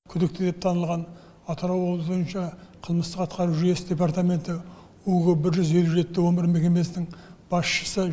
күдікті деп танылған атырау облысы бойынша қылмыстық атқару жүйесі департаменті бір жүз елу жетте он бір мекемесінің басшысы